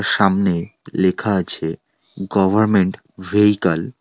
সামনে লেখা আছে গভরমেন্ট ভেহিকল ।